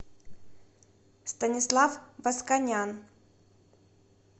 станислав восканян